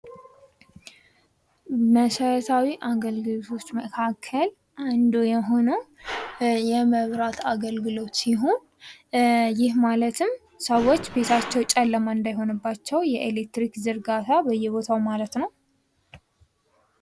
መሰረታዊ የአገልግሎቶች መካከል አንዱ የሆነው የመብራት አገልግሎት ሲሆን ይህ ማለትም ሰዎች ቤታቸው ጨለማ እንዳይሆንባቸው የኤሌክትሪክ ዝርጋታ በየቦታው ማለት ነው።